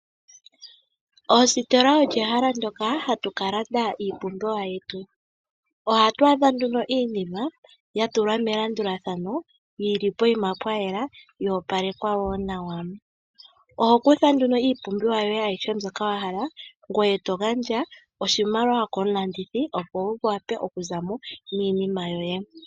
Oositola olyo ehala ndyoka hatu kalanda iipumbiwa yetu. Ohatu adha nduno iinima ya tulwa melandulathano yili poima pwayela yo opalekwa wo nawa. Oho kutha nduno iipumbiwa yoye ayihe mbyoka wahala ngoye togandja oshimaliwa komulandithi opo wu wape oku zamo niinima yoye.